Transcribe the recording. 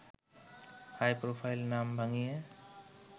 high-profile নাম ভাঙিয়ে